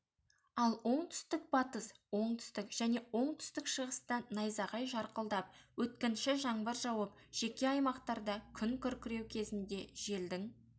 ал оңтүстік-батыс оңтүстік және оңтүстік-шығыста найзағай жарқылдап өткінші жаңбыр жауып жеке аймақтарда күн күркіреу кезінде желдің